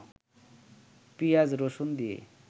পেঁয়াজ, রসুন দিয়ে